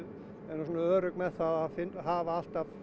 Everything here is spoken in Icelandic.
erum örugg með að hafa alltaf